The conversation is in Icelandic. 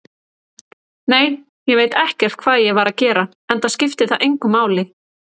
Nei, ég veit ekkert hvað ég var að gera, enda skiptir það engu máli.